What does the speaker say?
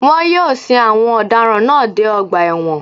Wọ́n yóò sin àwọn ọ̀daràn náà dé ọgbà ẹ̀wọ̀n